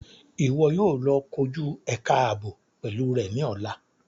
Iwọ yóò lọ koju ẹka aabo pẹlu rẹ ni ọla!